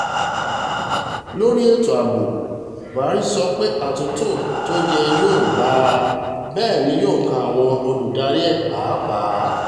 lórí ètò ààbò buhari sọ pé àtúntò tó yẹ yóò bá a bẹ́ẹ̀ ni yóò kan àwọn olùdarí ẹ̀ pàápàá